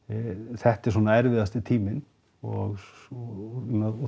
þetta er svona erfiðasti tíminn og og